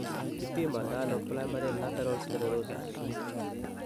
Kipimandano primary lateral sclerosis?